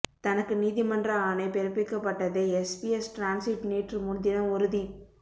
தனக்கு நீதிமன்ற ஆணை பிறப்பிக்கப்பட்டதை எஸ்பிஎஸ் டிரான்சிட் நேற்று முன்தினம் உறுதிப்